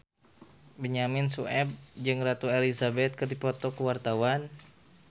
Benyamin Sueb jeung Ratu Elizabeth keur dipoto ku wartawan